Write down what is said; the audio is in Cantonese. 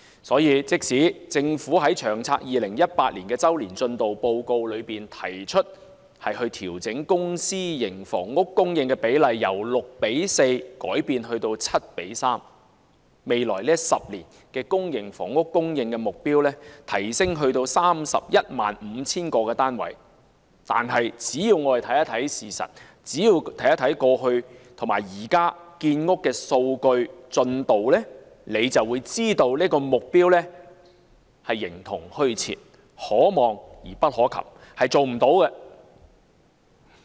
所以，即使政府在《長遠房屋策略》2018年周年進度報告提出調整公私營房屋供應比例，由 6：4 改至 7：3， 把未來10年公營房屋的供應目標提升至 315,000 個單位，但我們只要看一看事實，看一看過去及現時的建屋進度數據，就會知道這個目標是形同虛設，可望而不可及，無法做到的。